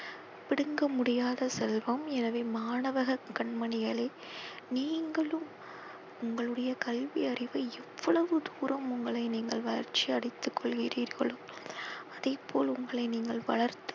பிடுங்க முடியாத செல்வம் எனவே மாணவக கண்மணிகளே நீங்களும் உங்களுடைய கல்வி அறிவை எவ்வளவு தூரம் உங்களை நீங்கள் வளர்ச்சி அடைத்து கொள்கிறீர்களோ அதை போல் உங்களை நீங்கள் வளர்த்து